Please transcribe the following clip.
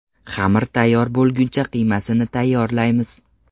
Xamir tayyor bo‘lguncha qiymasini tayyorlaymiz.